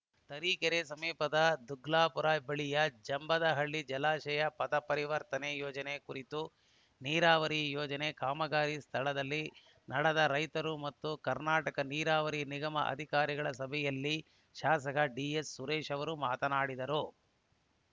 ತರೀಕೆರೆ ಸಮೀಪದ ದುಗ್ಲಾಪುರ ಬಳಿಯ ಜಂಬದಹಳ್ಳ ಜಲಾಶಯ ಪಥ ಪರಿವರ್ತನೆ ಯೋಜನೆ ಕುರಿತು ನೀರಾವರಿ ಯೋಜನೆ ಕಾಮಗಾರಿ ಸ್ಥಳದಲ್ಲಿ ನಡೆದ ರೈತರು ಮತ್ತು ಕರ್ನಾಟಕ ನೀರಾವರಿ ನಿಗಮದ ಅಧಿಕಾರಿಗಳ ಸಭೆಯಲ್ಲಿ ಶಾಸಕ ಡಿಎಸ್‌ಸುರೇಶ್‌ ಅವರು ಮಾತನಾಡಿದರು